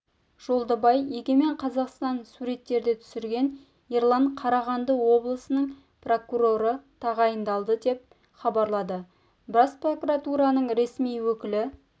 жолдыбай егемен қазақстан суретерді түсірген ерлан қарағанды облысының прокуроры тағайындалды деп хабарлады бас прокуратураның ресми өкілі